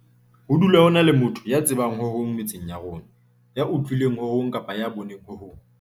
Ho dula ho na le motho ya tsebang ho hong metseng ya rona, ya utlwileng ho hong kapa ya boneng ho hong.